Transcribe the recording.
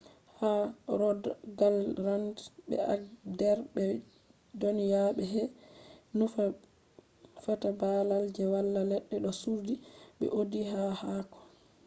ha rogaland be agder be dyona be ‘hei” je nufata babal je wala ledde do suddi be audi haako haako